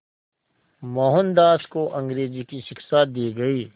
मोहनदास को अंग्रेज़ी की शिक्षा दी गई